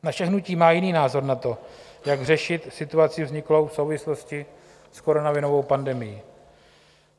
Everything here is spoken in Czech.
Naše hnutí má jiný názor na to, jak řešit situaci vzniklou v souvislosti s koronavirovou pandemií.